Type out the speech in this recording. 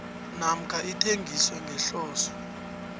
namkha ithengiswe ngehloso